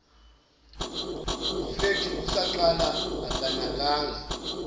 flethi kusaqala akanakanga